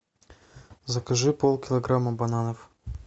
закажи полкилограмма бананов